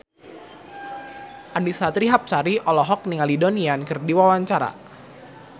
Annisa Trihapsari olohok ningali Donnie Yan keur diwawancara